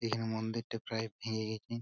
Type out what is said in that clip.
এখানে মন্দিরটা প্রায় ভেঙে গেছে।